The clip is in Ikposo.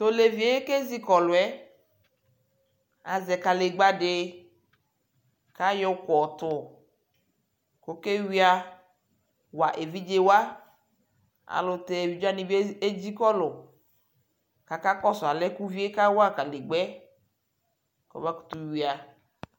Tʋ olevi yɛ kezikɔlʋ yɛ azɛ kanegba dι kayɔ uku yɔtʋ kʋ ewia wa evidzewa ayʋɛlʋtɛ evidzewani bι edzikɔlʋ kʋ akakɔsu alɛ yɛ ku uvie kawa kanegba yɛ kʋ ɔbakutu wia